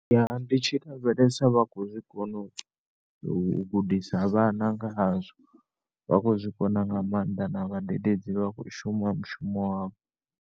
Ya ndi tshi lavhelesa vhakho zwikona u gudisa vhana nga hazwo vhakho zwikona nga maanḓa na vhadededzi vhakho shuma mushumo wavho.